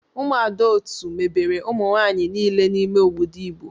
Umuada otu mebere umunwanyi nile n'ime obodo Igbo.